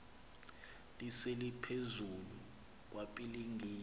lise liphezulu kwapilingile